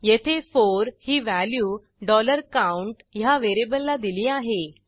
येथे 4 ही value count ह्या व्हेरिएबलला दिली आहे